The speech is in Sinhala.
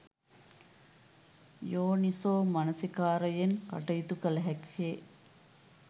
යෝනිසෝ මනසිකාරයෙන් කටයුතු කළ හැක්කේ